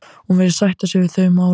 Hún virðist sætta sig við þau málalok.